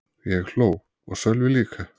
Ég hló og Sölvi líka.